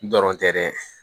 Dɔrɔn tɛ dɛ